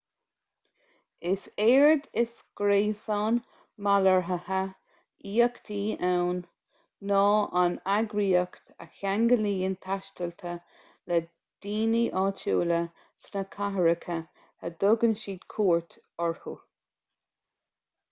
is éard is gréasán malartaithe aíochta ann ná an eagraíocht a cheanglaíonn taistealaithe le daoine áitiúla sna cathracha a dtugann siad cuairt orthu